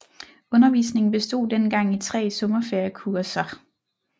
Undervisningen bestod dengang i tre sommerferiekurser